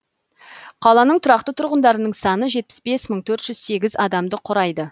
қаланың тұрақты тұрғындарының саны жетпіс бес мың төрт жүз сегіз адамды құрайды